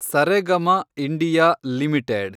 Saregama India limited